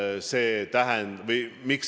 Miks see nii on?